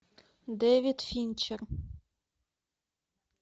дэвид финчер